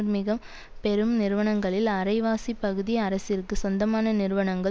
மிக பெரும் நிறுவனங்களில் அரைவாசி பகுதி அரசிற்கு சொந்தமான நிறுவனங்கள்